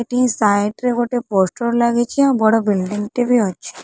ଏଠି ସାଇଟ୍ ରେ ଗୋଟେ ପୋଷ୍ଟର ଲାଗିଛି ଆଉ ବଡ ବିଲଡିଙ୍ଗ ଟେ ବି ଅଛି ।